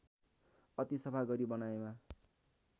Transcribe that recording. अति सफा गरी बनाएमा